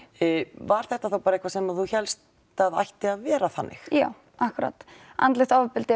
var þetta þá bara eitthvað sem þú hélst að ætti að vera þannig já akkúrat andlegt ofbeldi